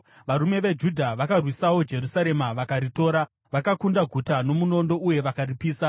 Varume veJudha vakarwisawo Jerusarema vakaritora. Vakakunda guta nomunondo uye vakaripisa.